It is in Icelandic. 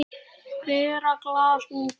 Bera glas mun delinn.